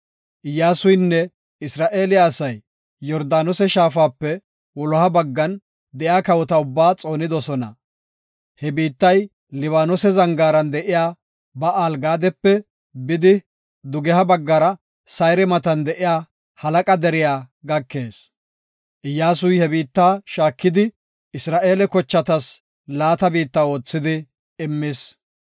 Iyyasuynne Isra7eele asay Yordaanose shaafape wuloha baggan de7iya kawota ubba xoonidosona. He biittay Libaanose zangaaran de7iya Ba7aal-Gaadepe bidi, dugeha baggara Sayre matan de7iya Halaqa deriya gakees. Iyyasuy he biittaa shaakidi, Isra7eele kochatas laata biitta oothidi immis.